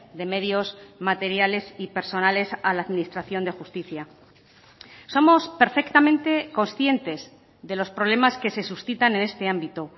de medios materiales y personales a la administración de justicia somos perfectamente conscientes de los problemas que se suscitan en este ámbito